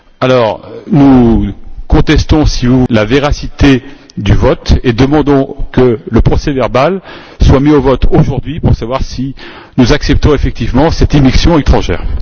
Par conséquent, nous contestons la véracité du vote et demandons que le procès verbal soit mis au vote aujourd'hui pour savoir si nous acceptons effectivement cette immixtion étrangère.